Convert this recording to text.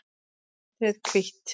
Letrið hvítt.